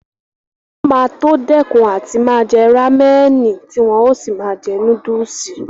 Wọn máa tó dẹ́kun àti máa jẹ rámẹ̀nì tí wọn ó sì máa jẹ núdùsì